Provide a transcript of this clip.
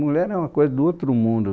Mulher é uma coisa do outro mundo.